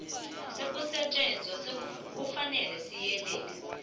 sokusetjenzwa kufanele siyelelwe